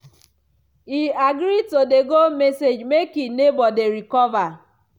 e agree to dey go message make e neighbor dey recover.